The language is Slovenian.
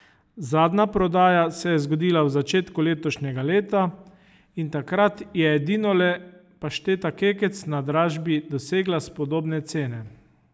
Zadnja prodaja se je zgodila v začetku letošnjega leta, in takrat je edinole pašteta kekec na dražbi dosegla spodobne cene.